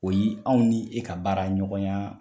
O yi aw ni e ka baara ɲɔgɔn ya